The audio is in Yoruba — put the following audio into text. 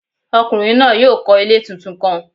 Ọkunrin naa yoo kọ ile titun kan.